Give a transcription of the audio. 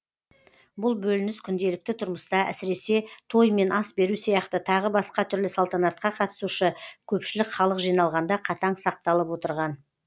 бұл бөлініс күнделікті тұрмыста әсіресе той мен ас беру сияқты тағы басқа түрлі салтанатқа қатысушы көпшілік халық жиналғанда қатаң сақталып отырған